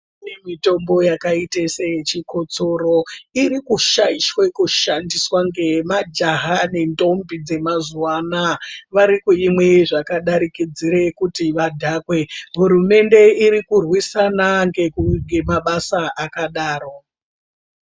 Kune mitombo yakaita seyechikotsoro irikushaishwe kushandiswa nemajaha nentombi dzemazuwa anaya varikuimwe zvakadarikidza kuti vadhakwe hurumende irikurwisana nemabasa akadaro.